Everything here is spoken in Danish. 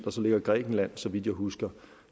og så ligger grækenland så vidt jeg husker